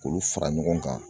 K'olu fara ɲɔgɔn kan